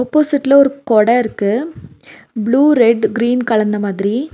ஆப்போசிட்ல ஒரு கொடருக்கு ப்ளூ ரெட் கிரீன் கலந்த மாதிரி.